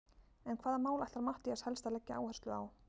En hvaða mál ætlar Matthías helst að leggja áherslu á?